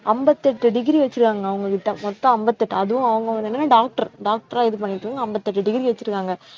அம்பத்தெட்டு degree வைச்சிருக்காங்க அவங்க கிட்ட, மொத்தம் அம்பத்தெட்டு அதுவும் அவங்க வந்து என்னனா doctor doctor ஆ இது பண்ணிட்டு அம்பத்தெட்டு degree வச்சிருக்காங்க